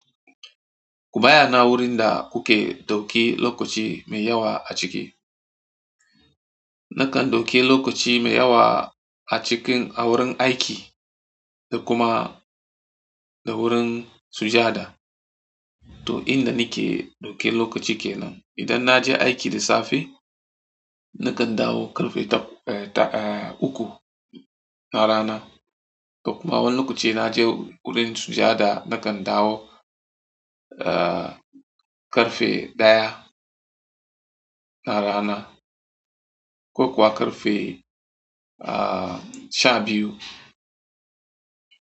Ku bayyana wurin da kuke dauki lokaci mai yawa a ciki. Nakan dauki lokaci mai yawa a cikin a wurin aiki da kuma da wurin sujada. To inda nike dauke lokaci kenan. Idan naje aiki da safe, nakan dawo ƙarfe ta, eh, uku na rana. Kuma wani na je wurin sujada nakan dawo, ƙarfe ɗaya na rana ko kuwa ƙarfe, sha biyu.